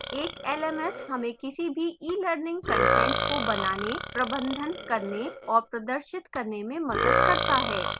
एक lms हमें किसी भी ईelearning कंटेंट को बनाने प्रबंधन करने और प्रदर्शित करने में मदद करता है